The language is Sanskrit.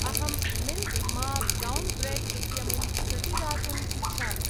अहम् मिल्क् मा ब्रौन् ब्रेड् इत्यमुं प्रतिदातुम् इच्छामि।